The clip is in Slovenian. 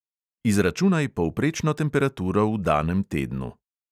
Izračunaj povprečno temperaturo v danem tednu.